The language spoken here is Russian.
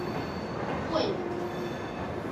войлок